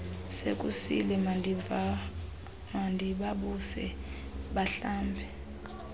sekusile mandibavuse bahlambe